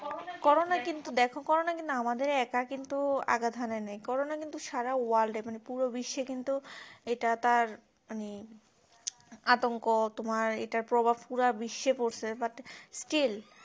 corona কিন্তু দেখো corona কিন্তু আমাদের একা কিন্তু আগাধানে নেই করোনা কিন্তু সারা world এ পুরো বিশ্বে কিন্তু এটা তারমানে আতঙ্ক তোমার এটার প্রভাব পুরো বিশ্বে পড়ছে butstil